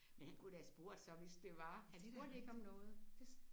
Men han kunne da have spurgt så hvis det var. Han spurgte ikke om noget